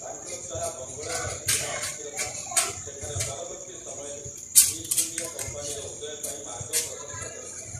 ତାଙ୍କ ଦ୍ୱାରା ବଙ୍ଗଳାରେ ଆସିଥିବା ଅସ୍ଥିରତା, ସେଠାରେ ପରବର୍ତ୍ତୀ ସମୟରେ ଇଷ୍ଟଇଣ୍ଡିଆ କମ୍ପାନୀର ଉଦୟପାଇଁ ମାର୍ଗ ପ୍ରଶସ୍ତ କରିଥିଲା ।